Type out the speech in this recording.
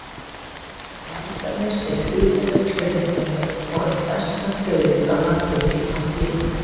En Langanes er gríðarleg hlunnindajörð og eitt besta brauðið á landinu í þann tíma.